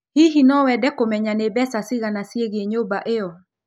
Hihi no wende kũmenya nĩ mbeca cigana ciĩgiĩ nyũmba ĩyo?